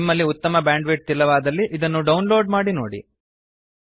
ನಿಮಲ್ಲಿ ಉತ್ತಮ ಬ್ಯಾಂಡ್ವಿಡ್ತ್ ಇಲ್ಲವಾದಲ್ಲಿ ಇದನ್ನು ಡೌನ್ ಲೋಡ್ ಮಾಡಿ ನೋಡಿ